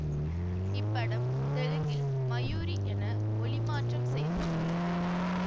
இப்படம் தெலுங்கில் மயூரி என மொழி மாற்றம் செய்ய பட்டுள்ளது